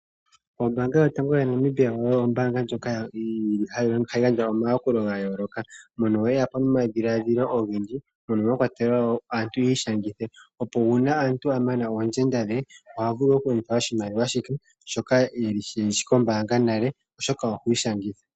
Ombaanga yotango ya Namibia oyo ombaanga yotango ndjoka yili hayi gandja omayakulo ga yooloka. Mono muna omadhiladhilo ogendji, ono mwa kwatelwa wo aantu yi ishangithe opo omuntu a mana oondjenda dhe oha vulu oku pewa oshimaliwa she shoka shili kombaanga oshoka okwiishangitha.